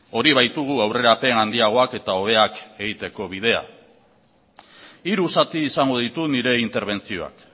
hori baitugu aurrerapen handiagoak eta hobeak egiteko bidea hiru zati izango ditu nire interbentzioak